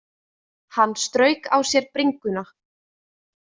Hann strauk á sér bringuna.